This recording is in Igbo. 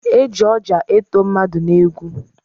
Eji ọja eto mmadụ n'egwu.